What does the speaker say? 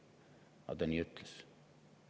Aga nii ta ütles.